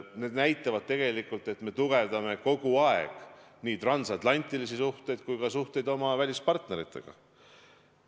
Need asjad näitavad, et me tugevdame kogu aeg nii transatlantilisi suhteid kui ka suhteid oma välispartneritega.